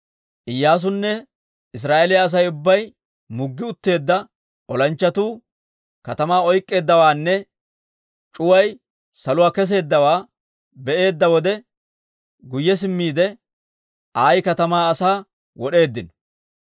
Iyyaasunne Israa'eeliyaa Asay ubbay muggi utteedda olanchchatuu katamaa oyk'k'eeddawaanne c'uway saluwaa kesseeddawaa be'eedda wode guyye simmiide, Ayi katamaa asaa wod'eeddino.